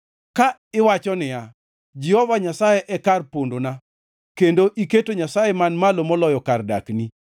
Ka iwacho niya, “Jehova Nyasaye e kar pondona,” kendo iketo Nyasaye Man Malo Moloyo kar dakni,